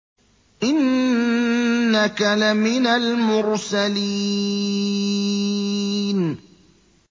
إِنَّكَ لَمِنَ الْمُرْسَلِينَ